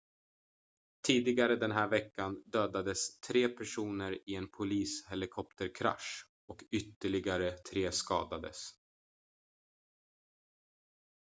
tidigare den här veckan dödades tre personer i en polishelikopterkrasch och ytterligare tre skadades